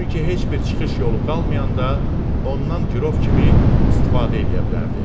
Çünki heç bir çıxış yolu qalmayanda ondan girov kimi istifadə eləyə bilərdi.